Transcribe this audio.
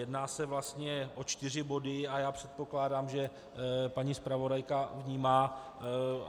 Jedná se vlastně o čtyři body a já předpokládám, že paní zpravodajka vnímá.